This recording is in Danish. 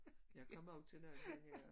Jeg kommer jo til når jeg det her